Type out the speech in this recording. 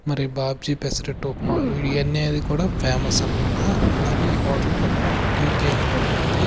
మరి బాబ్జి పెసరెట్టు ఉప్మా ఇవన్నేది కూడా ఫేమస్ అన్నమాట అలాగే ఈ హోటల్ పక్కనే ఒక టీ కేఫ్ కూడా ఉంది.